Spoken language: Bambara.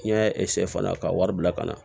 N'i y'a fana ka wari bila ka na